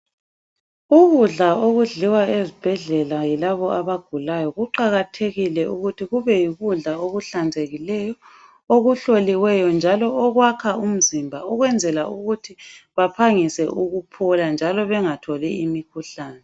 Ukudla okudliwa ezibhedlela yilaba abagulayo kuqakathekile ukuthi kube yikudla okuhlanzekileyo okuhloliweyo njalo okwakha umzimba ukwenzela ukuthi baphangise ukuphola njalo bengatholi imikhuhlane.